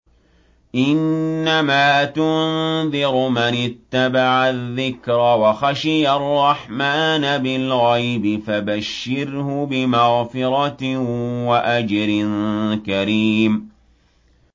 إِنَّمَا تُنذِرُ مَنِ اتَّبَعَ الذِّكْرَ وَخَشِيَ الرَّحْمَٰنَ بِالْغَيْبِ ۖ فَبَشِّرْهُ بِمَغْفِرَةٍ وَأَجْرٍ كَرِيمٍ